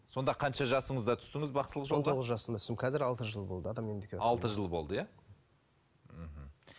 сонда қанша жасыңызда түстіңіз бақсылық жасымда түстім қазір алты жыл болды алты жыл болды иә мхм